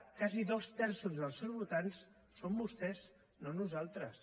quasi dos terços dels seus votants són vostès no nosaltres